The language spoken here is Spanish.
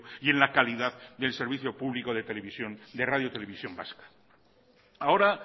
y en la calidad del servicio de radio televisión vasca ahora